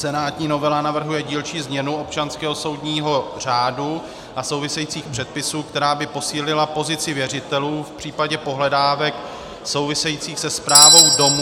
Senátní novela navrhuje dílčí změnu občanského soudního řádu a souvisejících předpisů, která by posílila pozici věřitelů v případě pohledávek souvisejících se správou domu...